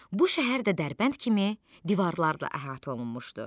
Bu şəhər də Dərbənd kimi divarlarla əhatə olunmuşdu.